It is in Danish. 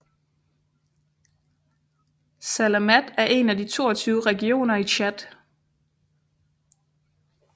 Salamat er en af de 22 regioner i Tchad